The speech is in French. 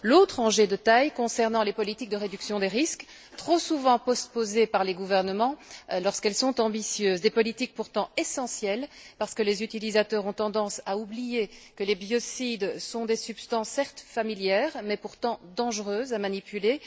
L'autre enjeu de taille concerne les politiques de réduction des risques, trop souvent postposées par les gouvernements lorsqu'elles sont ambitieuses, mais pourtant essentielles, parce que les utilisateurs ont tendance à oublier que les biocides sont des substances certes familières, mais pourtant dangereuses à manipuler.